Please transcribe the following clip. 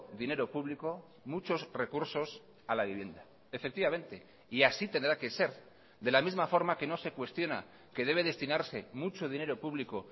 dinero público muchos recursos a la vivienda efectivamente y así tendrá que ser de la misma forma que no se cuestiona que debe destinarse mucho dinero público